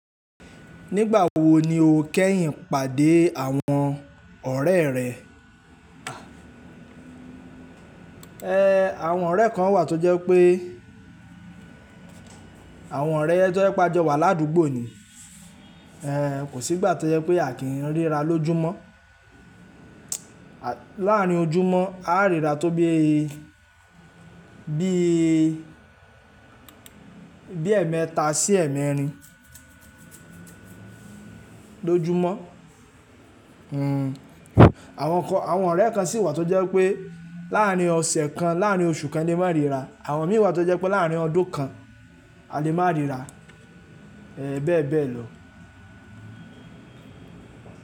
Nígbà wo ni o kẹ́yìn pàdé àwọn ọ̀rẹ́ rẹ? Ẹ̀, àwọn ọ̀rẹ́ kan wà tó jẹ́ wipe pé àwọn ọ̀rẹ́ tó jẹ́ pé a jọ wà ládùúgbò ni. Ẹ̀, kò sí gbà tó jẹ́ pé a kì í ríra lójúmọ́. Láàárín ojúmọ́, a ríra tó bí i, bí i, bí ẹ̀ẹ̀mẹta sí ẹ̀ẹ̀mẹrin lójúmọ́. Àwọn kan, àwọn ọ̀rẹ́ kan sì wà tó jẹ́ pé láàárín ọ̀sẹ̀ kan, láàárín oṣù kan ni a máa ń ríra. Àwọn mìí wa tó jẹ́ pé láàárín ọdún kan a lè máa ríra. Bẹ́ẹ̀ bẹ́ẹ̀ lọ.